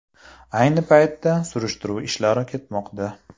Ayni paytda surishtiruv ishlari ketmoqda.